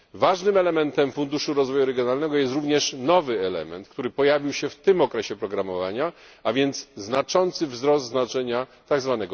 Ważnym elementem Funduszu Rozwoju Regionalnego jest również nowy element, który pojawił się w tym okresie programowania, a więc duży wzrost znaczenia tzw.